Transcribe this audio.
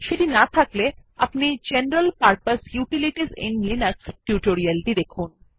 সেটি না থাকলে দয়া করে general purpose utilities in Linux tutorial টি দেখুন